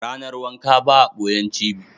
Ranar wanka ba a ɓoyen cibi